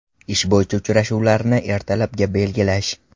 Ish bo‘yicha uchrashuvlarni ertalabga belgilash.